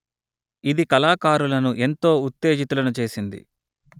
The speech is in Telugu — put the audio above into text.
ఇది కళాకారులను ఎంతో ఉత్తేజితులను చేసింది